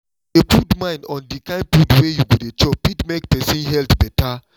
to dey put mind on the kind food wey you go dey chop fit make person health better